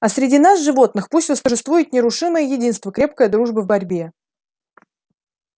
а среди нас животных пусть восторжествует нерушимое единство крепкая дружба в борьбе